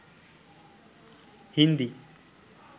hindi